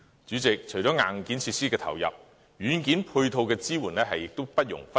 主席，除了硬件設施的投入，軟件配套的支援亦不容忽視。